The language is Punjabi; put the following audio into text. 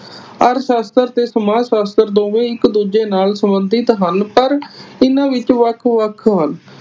ਅਰਥ ਸ਼ਾਸਤਰ ਤੇ ਸਮਾਜ ਸ਼ਾਸਤਰ ਦੋਵੇ ਹੀ ਇਕ ਦੂਜੇ ਨਾਲ ਸੰਬੰਧਿਤ ਹਨ ਪਰ ਇਹਨਾਂ ਵਿਚ ਵੱਖ ਵੱਖ ਹਨ।